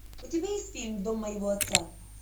у тебя есть фильм дом моего отца